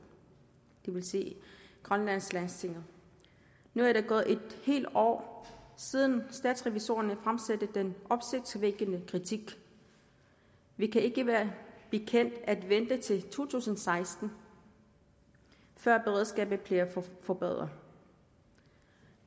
vil sige grønlands landsting nu er der gået et helt år siden statsrevisorerne fremsatte den opsigtsvækkende kritik vi kan ikke være bekendt at vente til to tusind og seksten før beredskabet bliver forbedret